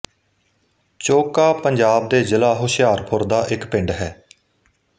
ਚੋਹਕਾ ਪੰਜਾਬ ਦੇ ਜਿਲ੍ਹਾ ਹੁਸ਼ਿਆਰਪੁਰ ਦਾ ਇੱਕ ਪਿੰਡ ਹੈ